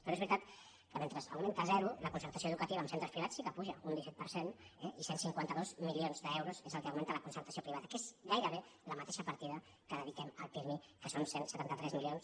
però és veritat que mentre augmenta zero la concer·tació educativa en centres privats sí que puja un disset per cent eh i cent i cinquanta dos milions d’euros és el que augmenta la concertació privada que és gairebé la mateixa parti·da que dediquem al pirmi que són cent i setanta tres milions